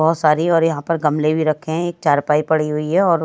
बहुत सारी और यहां पर गमले भी रखे हैं। एक चारपाई पड़ी हुई है और--